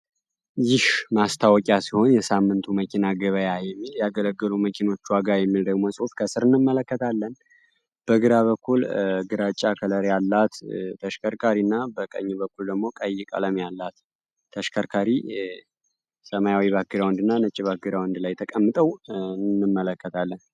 ማስታወቂያ ሲሆን የሳምንቱ መኪና ገበያ ያገለገሉ መኪኖች ዋጋ የሚለው ጽሑፍ አለን በግራ በኩል ግራጫ ላይ ያላት ተሽከርካሪና በቀኝ በኩል ደግሞ ቀይ ቀለም ያላት ተሽከርካሪ ሰማያዊ ተቀምጠው እንመለከታለን።